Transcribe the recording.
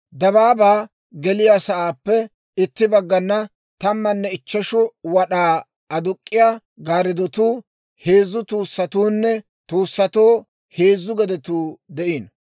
Dabaabaa geliyaa sa'aappe itti baggana tammanne ichcheshu wad'aa aduk'k'iyaa gaariddotuu, heezzu tuussatuunne tuussatoo heezzu gedetuu de'iino.